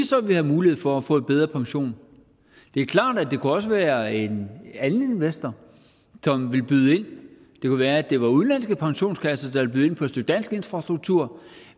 så ville have mulighed for at få bedre pension det er klart at det også kunne være en anden investor som ville byde ind det kunne være det var udenlandske pensionskasser der ville byde ind på et stykke dansk infrastruktur